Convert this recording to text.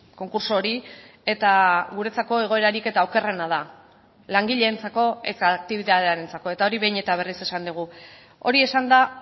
konkurtso hori eta guretzako egoerarik eta okerrena da langileentzako eta aktibitatearentzako eta hori behin eta berriz esan dugu hori esanda